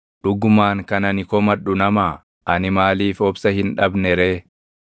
“Dhugumaan kan ani komadhu namaa? Ani maaliif obsa hin dhabne ree?